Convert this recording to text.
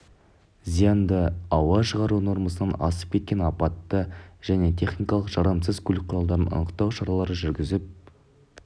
зиянды ауа шығару нормасынан асып кеткен апатты және техникалық жарамсыз көлік құралдарын анықтау шаралары жүргізіліп